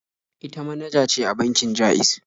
Ita manaja ce a bankin Ja'iz.